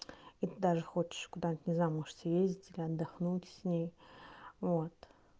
и ты даже хочешь куда-нибудь не знаю может съездить или отдохнуть с ней вот